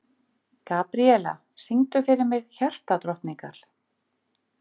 Gabríella, syngdu fyrir mig „Hjartadrottningar“.